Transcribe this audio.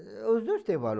os dois tem valor.